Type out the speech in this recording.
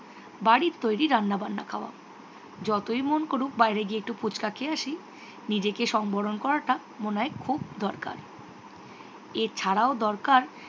বাড়ির তৈরি রান্না বান্না খাওয়া। যতই মন করুক বাইরে গিয়ে একটু ফুচকা খেয়ে আসি নিজেকে সম্বরণ করাটা মনে হয় খুব দরকার। এছাড়াও দরকার